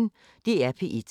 DR P1